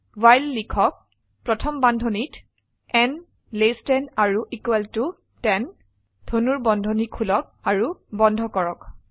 while লিখক প্ৰথম বন্ধনীত n less than or equal to 10 ধনুৰ্বন্ধনী খুলক আৰু বন্ধ কৰক